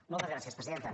moltes gràcies presidenta